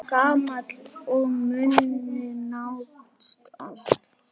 Gamall og muna nánast allt.